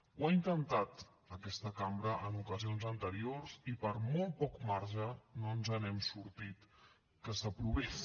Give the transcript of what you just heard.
ho ha intentat aquesta cambra en ocasions anteriors i per molt poc marge no ens n’hem sortit que s’aprovés